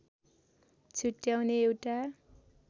छुट्याउने एउटा